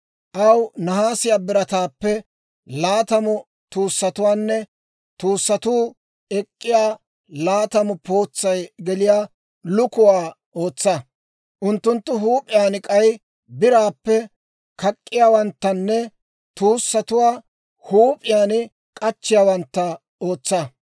Aw nahaasiyaa birataappe laatamu tuussatuwaanne tuussatuu ek'k'iyaa laatamu pootsay geliyaa lukuwaa ootsa; unttunttu huup'iyaan k'ay biraappe kak'k'iyaawanttanne tuussatuwaa huup'iyaan k'achchiyaawantta ootsa.